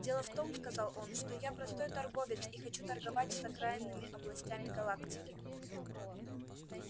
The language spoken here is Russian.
дело в том сказал он что я простой торговец и хочу торговать с окраинными областями галактики